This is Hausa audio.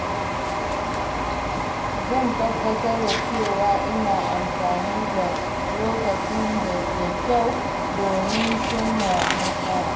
Zan tabbatar da cewa ina amfani da lokacin da kyau domin cimma nasara.